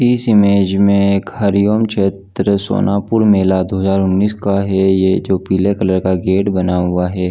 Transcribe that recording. इस इमेज में एक हरिओम क्षेत्र सोनापुर मेला दो हजार उन्नीस का है ये जो पीले कलर का गेट बना हुआ है।